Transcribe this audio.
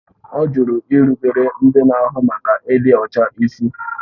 Ọ jụrụ irubere ndị na-ahụ maka ịdị ọcha ịsị